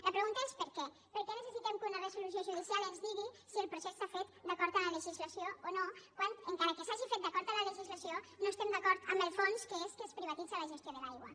la pregunta és per què per què necessitem que una resolució judicial ens digui si el procés està fet d’acord amb la legislació o no quan encara que s’hagi fet d’acord amb la legislació no estem d’acord amb el fons que és que es privatitza la gestió de l’aigua